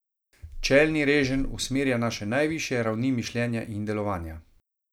Čelni reženj usmerja naše najvišje ravni mišljenja in delovanja.